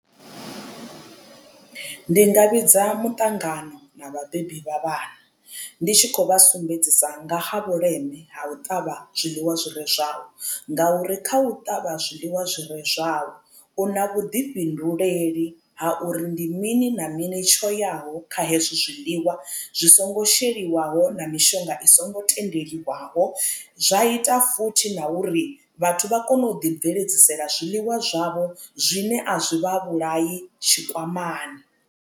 Ndi nga vhidza muṱangano na vhabebi vha vhana ndi tshi khou vha sumbedzisa nga ha vhuleme ha u ṱavha zwiḽiwa zwire zwau ngauri kha u ṱavha zwiḽiwa zwi re zwau u na vhuḓifhinduleli ha uri ndi mini na mini tsho yaho kha hezwo zwiḽiwa zwi songo sheliwaho na mishonga i songo tendeliwaho zwa ita futhi na uri vhathu vha kone u ḓi bveledzisela zwiḽiwa zwavho zwine a zwi vha vhulai tshikwamani.